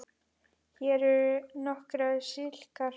Hér eru nokkrar slíkar